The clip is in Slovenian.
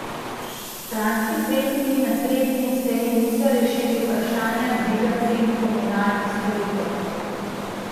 Kranjski svetniki na sredini seji niso rešili vprašanja dviga cen komunalnih storitev.